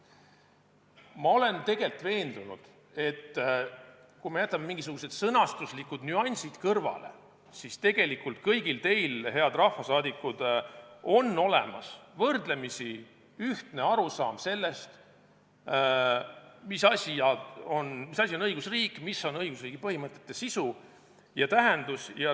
Ma olen veendunud, et kui me jätame mingisugused sõnastuslikud nüansid kõrvale, siis tegelikult teil kõigil, head rahvasaadikud, on olemas võrdlemisi ühtne arusaam sellest, mis asi on õigusriik, mis on õigusriigi põhimõtete sisu ja tähendus.